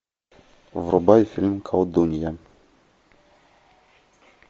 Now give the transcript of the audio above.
врубай фильм колдунья